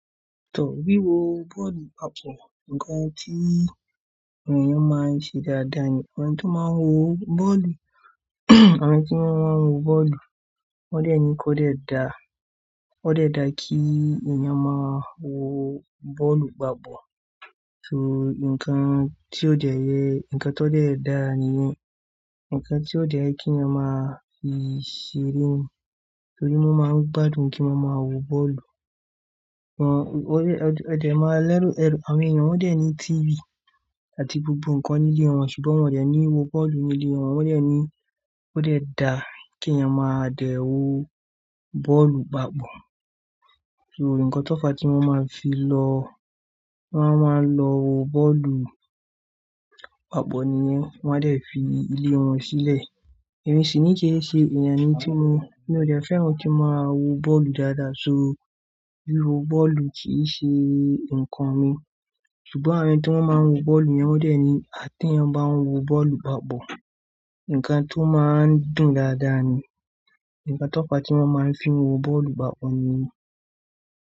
Tò, wíwo bọ́ọ̀lù papọ̀, ǹkan tí àwọn èèyàn máa ń ṣe dáadáa ni àwọn tó máa ń wo bọ́ọ̀lù, àwọn tí wọ́n máa ń wo bọ́ọ̀lù wọ́n dẹ̀ ni kó dẹ̀ da, ó dẹ̀ da kí èèyàn máa wo bọ́ọ̀lù papọ̀. So ǹkan tí ó dẹ̀ yẹ, ǹkan tó dẹ̀ da nìyẹn, ǹkan tí ó dẹ̀ yẹ kí èèyàn máa fi ṣeré torí wọ́n máa ń gbádùn kí wọ́n máa wo bọ́ọ̀lù. Wọ́n, ọ̀dẹ̀, ọ̀dẹ̀ máa lẹ́rù ẹrù, àwọn èèyàn wọ́n dẹ̀ ní TV àti gbogbo ǹkan nílé wọn ṣùgbọ́n wọ́n dẹ̀ ní wo bọ́ọ̀lù nílé wọn, wọ́n dẹ̀ ni kó dẹ̀ da kí èèyàn máa dẹ̀ wo bọ́ọ̀lù papọ̀. So ǹkan tó fa tí wọ́n máa fi lọ, wọ́n máa ń lọ wo bọ́ọ̀lù papọ̀ nìyẹn, wọ́n dẹ̀ fi ilé wọn sílẹ̀. Èmi sì ní kíni ṣe èèyàn ni tí mo, mí ò dẹ̀ fẹ́ràn kí n máa wo bọ́ọ̀lù dáadáa so wíwo bọ́ọ̀lù kì í ṣe nǹkan mi ṣùgbọ́n àwọn tí wọ́n máa ń wo bọ́ọ̀lù yẹn wọ́n dẹ̀ ni a ti èyàn bá ń wo bọ́ọ̀lù papọ̀, ǹkan tó máa ń dùn dáadáa ni, ǹkan tó fa tí wọ́n máa ń fi wo bọ́ọ̀lù papọ̀ nìyẹn.